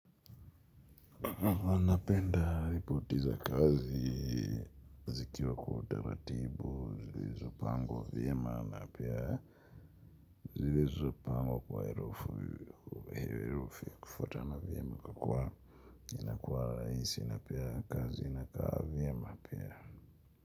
Anapenda ripoti za kazi zikiwa kwa utaratibu zilizopangwa vyema na pia zilzopangwa kwa herufi ya kufutana vyema kwa kua inakua rahisi na pia kazi inakaa vyema pia.